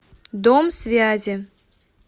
дом связи